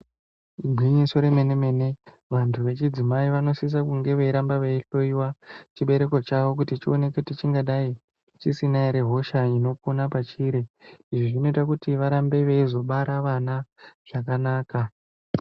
Igwinyiso remene-mene vantu vechidzimai vanosisa Kunge veitamb veihloyiwa chibereko chavo kuti chioneke kuti chingadai chisina ere hosha inopona pachiri. Izvi zvinoita kuti varambe veizobara vana zvakanaka.